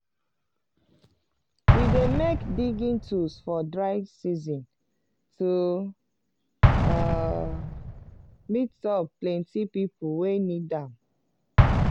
we dey make digging tools for dry sean to um meet up plenty people wey need am.